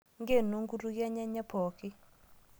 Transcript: Nkeno nkutukie enyenye pookin